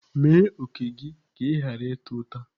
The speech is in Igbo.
Mee òkè gị ka ị ghara ịta ụta.